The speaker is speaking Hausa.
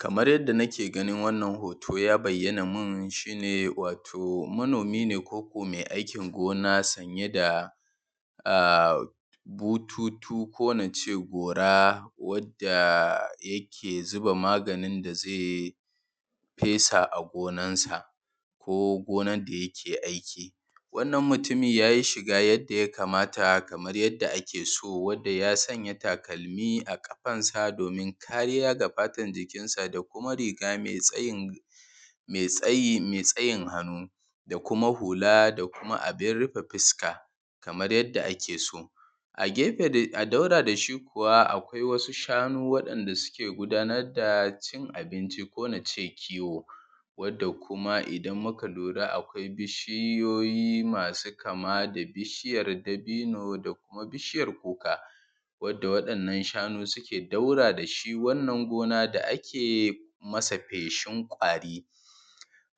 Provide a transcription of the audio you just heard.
Kamar yadda: nake ganin wannan hoto, ya bai yana mun, shine wato manomi ne. koko mai aikin gona, sanye da a bututu ko nace gora. wadda yake: zuba: maganin da ze, fesa: a gonan sa. Ko gonan dayake aiki. Wannan mutumin yayi shiga yadda yakamata, kamar yadda akeso. Wanda ya sanya takalmi a ƙafansa, domin kariya ga fatan jikinsa. Da kuma riga me tsayin, me tsayi me tsayi hannu. Da kuma hula da kuma abin rufe fuska. kamar yadda ake so. Agefe dai a daura dashi kuwa akwai wasu shanu wanda suke gudanar da, cin abinci ko nace kiwo Wanda kuma idan muka lura akwai bishiyoyi masu kama da bishiyar dabino, da kuma bishijar kuka. Wanda waɗannan shanu suke daura dashi Wannan gona da ake masa feshin kwari.